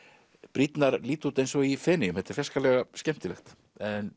brýrnar líta út eins og í Feneyjum þetta er fjarskalega skemmtilegt en